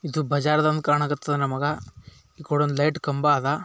ಇದು ಬಜಾರ್ ತರ ಕಾಣುತ್ತಿದೆ ನಮಗ. ಈ ಕಡೆ ಒಂದ್ ಲೈಟ್ ಕಂಬ ಅದ್.